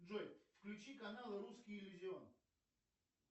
джой включи канал русский иллюзион